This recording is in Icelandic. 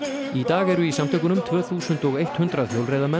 í dag eru í samtökunum tvö þúsund hundrað